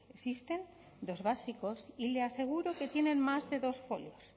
existen dos básicos y le aseguro que tienen más de dos folios